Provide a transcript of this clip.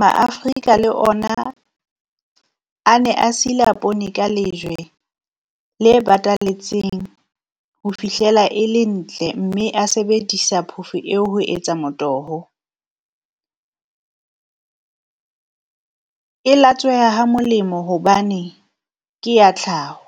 Maafrika le ona a ne a sila poone Ka lejwe le batalletsweng ho fihlela e le ntle, mme a sebedisa Phofo eo ho etsa motoho, e latsweha ha molemo hobane ke ya tlhaho.